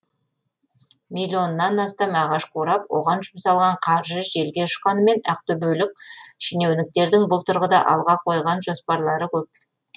миллионнан астам ағаш қурап оған жұмсалған қаржы желге ұшқанымен ақтөбелік шенеуніктердің бұл тұрғыда алға қойған жоспарлары көп